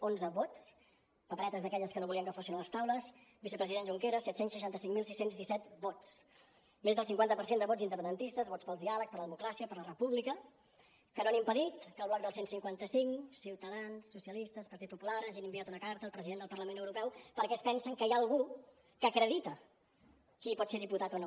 onze vots paperetes d’aquelles que no volien que fossin a les taules vicepresident junqueras set cents i seixanta cinc mil sis cents i disset vots més del cinquanta per cent de vots independentistes vots pel diàleg per la democràcia per la república que no han impedit que el bloc del cent i cinquanta cinc ciutadans socialistes partit popular hagin enviat una carta al president del parlament europeu perquè es pensen que hi ha algú que acredita qui pot ser diputat o no